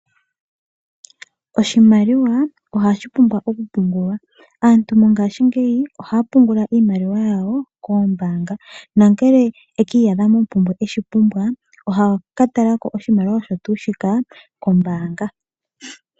Oshimaliwa ohashipumba okupungulwa aantu mongashi ngeyi ohga pungula imaliwa yawo kombaanga nongele eshi pumbwa oha ka tala oshimaliwa kombaanga.